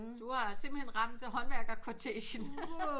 Du har simpelthen ramt håndværkshotessen